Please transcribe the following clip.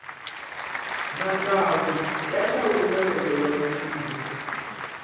matsawu ya xawula loko ya vupfile